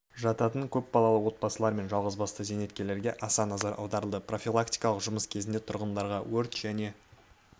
жататын көпбалалы отбасылар мен жалғызбасты зейнеткерлерге баса назар аударылды профилактикалық жұмыс кезінде тұрғындарға өрт және